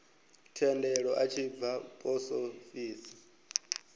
thendelo a tshi bva posofisi